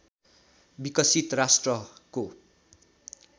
विकसित राष्ट्रको